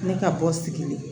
Ne ka bɔ sigilen